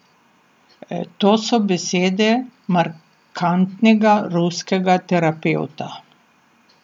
To so besede markantnega ruskega terapevta.